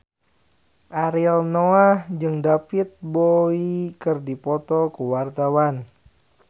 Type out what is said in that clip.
Ariel Noah jeung David Bowie keur dipoto ku wartawan